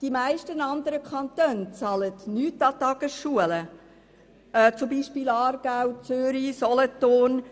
Die meisten anderen Kantone bezahlen nichts daran, beispielsweise Aargau, Zürich und Solothurn.